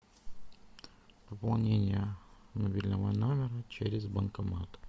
пополнение мобильного номера через банкомат